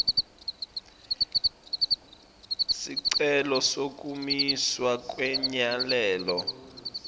sicelo sekumiswa kwemyalelo